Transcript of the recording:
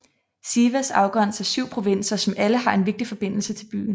Sivas afgrænser 7 provinser som alle har en vigtig forbindelse til byen